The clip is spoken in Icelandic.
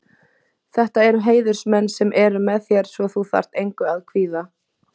Þetta eru heiðursmenn sem eru með þér svo þú þarft engu að kvíða.